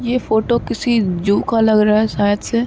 ये फोटो किसी ज़ू का लग रहा हैं शायद से।